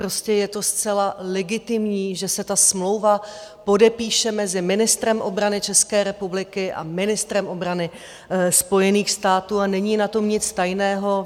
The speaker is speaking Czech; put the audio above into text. Prostě je to zcela legitimní, že se ta smlouva podepíše mezi ministrem obrany České republiky a ministrem obrany Spojených států a není na tom nic tajného.